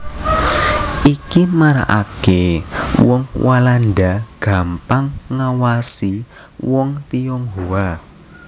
Iki maraaké wong Walanda gampang ngawasi wong Tionghoa